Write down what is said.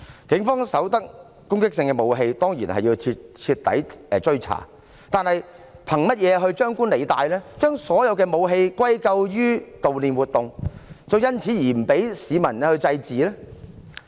警方搜獲攻擊性武器，當然要徹底追查，但是，憑甚麼張冠李戴，將所有武器歸咎於悼念活動，因此不准市民祭祀呢？